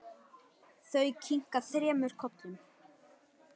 Þau kinka þremur kollum.